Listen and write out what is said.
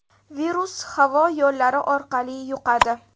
Virus havo yo‘llari orqali yuqadi.